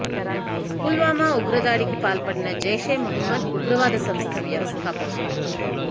పుల్వామా ఉగ్ర దాడికి పాల్పడిన జైషే మహ్మద్ ఉగ్ర వాద సంస్థ వ్యవస్థాపకుడు